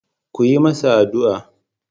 Ku yi masa addu'a.